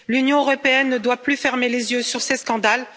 L'Union européenne ne doit plus fermer les yeux sur ces scandales.